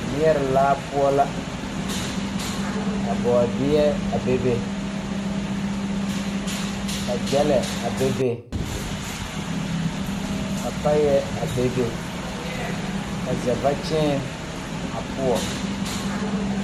Neɛre laa poɔ la ka bɔɔdeɛ a bebe ka gyɛlɛ a bebe ka paayɛ a bebe ka zɛvakyeene a poɔ.